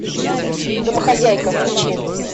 домохозяйка включи